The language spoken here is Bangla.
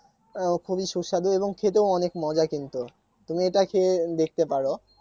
আহ খুবই সুস্বাদু এবং খেতেও অনেক মজা কিন্তু তুমি এটা খেয়ে দেখতে পারো